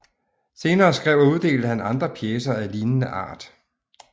Senere skrev og uddelte han andre pjecer af lignende art